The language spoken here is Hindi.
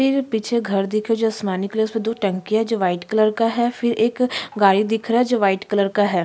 फिर पीछे घर दिख रहे है जो आसमानी कलर उसपे दो टंकिया वाइट कलर का है फिर एक गाड़ी दिख रहा है वाइट कलर का है।